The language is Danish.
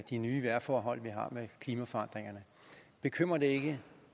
de nye vejrforhold vi har med klimaforandringerne bekymrer det ikke